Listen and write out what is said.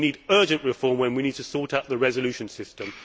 We need urgent reform where we need to seek out the resolution system.